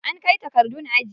An kai takardun aji.